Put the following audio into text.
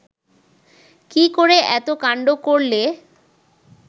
কি করে এত কান্ড করলে